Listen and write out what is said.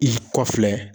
I kɔfɛ